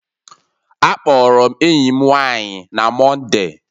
Akpọrọ m enyi m nwanyị na Mọnde